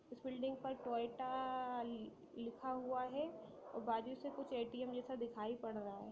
उस बिल्डिंग पर टोयोटा लिखा हुआ है| और बाजू से कुछ ए_टी_एम जैसा दिखाई पड़ रहा है।